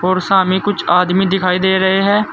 और सामे कुछ आदमी दिखाई दे रहे हैं।